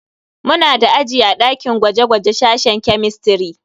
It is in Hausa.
Muna da aji a dakin gwaje-gwaje sashen kemistiri.